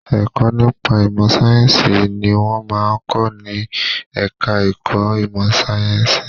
Ẹ̀kọ́ nípa ìmọ̀ sáyẹ̀nsì ni wọ́n máa ń kọ́ ní ẹ̀ka ẹ̀kọ́ ìmọ sàyẹ̀nsì.